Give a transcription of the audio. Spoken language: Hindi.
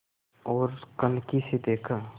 ओर कनखी से देखा